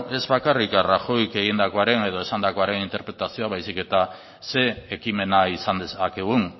ez bakarrik rajoyk egindakoaren eta esandakoaren interpretazioa baizik eta ze ekimena izan dezakegun